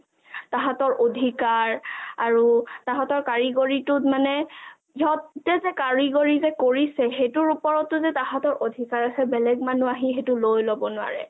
তাহঁতৰ অধিকাৰ আৰু তাঁহাতৰ কাৰিকৰিটোত মানে সিহঁতে যে কাৰিকৰিটো যে কৰিছে সেইটো ওপৰটো যে তাহঁতৰ অধিকাৰ আছে বেলেগ মানুহ লৈ লব নোৱাৰে